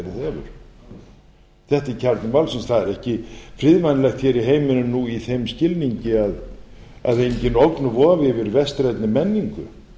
hefur þetta er kjarni málsins að er ekki friðvænlegt hér í heiminum nú í þeim skilningi að engin ógn vofi yfir vestrænni menningu